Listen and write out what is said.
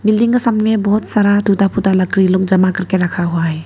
बहुत सारा टूटा फूटा लकड़ी लोग जमा करके रखा हुआ है।